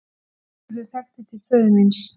Sigurður þekkti til föður míns.